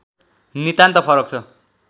नितान्त फरक छ